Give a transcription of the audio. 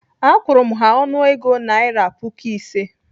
Akwụru m ha ọnụego naira puku ise